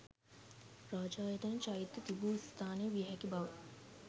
රාජායතන චෛත්‍ය්‍ය තිබූ ස්ථානය වියැ හැකි බව